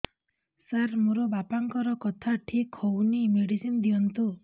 ସାର ମୋର ବାପାଙ୍କର କଥା ଠିକ ହଉନି ମେଡିସିନ ଦିଅନ୍ତୁ